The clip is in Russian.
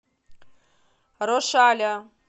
рошаля